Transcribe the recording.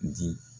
Di